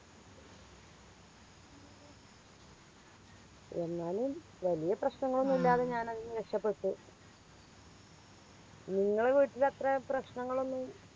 എന്നാലും വലിയ പ്രശ്നങ്ങളൊന്നും ഇല്ലാതെ ഞാനതിന്ന് രക്ഷപ്പെട്ടു നിങ്ങളെ വീട്ടില് അത്രേ പ്രശ്നങ്ങളൊന്നും